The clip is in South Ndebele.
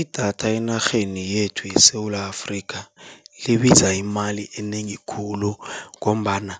Idatha enarheni yethu yeSewula Afrika, libiza imali enengi khulu ngombana